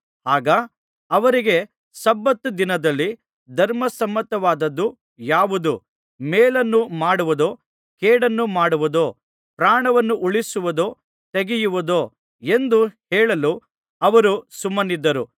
ಆಗ ಅವರಿಗೆ ಸಬ್ಬತ್ ದಿನದಲ್ಲಿ ಧರ್ಮಸಮ್ಮತವಾದದು ಯಾವುದು ಮೇಲನ್ನು ಮಾಡುವುದೋ ಕೇಡನ್ನು ಮಾಡುವುದೋ ಪ್ರಾಣವನ್ನು ಉಳಿಸುವುದೋ ತೆಗೆಯುವುದೋ ಎಂದು ಹೇಳಲು ಅವರು ಸುಮ್ಮನಿದ್ದರು